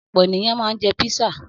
Ọ̀pọ̀ ènìyàn máa ń jẹ písà.